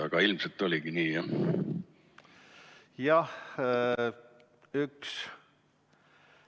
Aga ilmselt oligi nii.